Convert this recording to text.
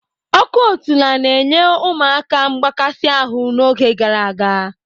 Ọkọ̀ otula na nye ụmụaka mgbakasi ahụ n'oge gara aga.